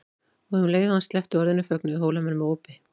Og um leið og hann sleppti orðinu fögnuðu Hólamenn með ópi.